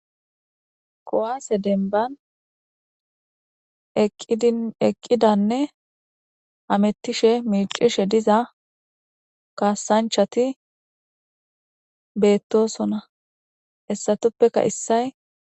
kowaase denban eqqidanne amettishe miicishe diza kaasanchati beettosona hessatuppeka issay